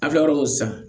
An filɛ yɔrɔ min san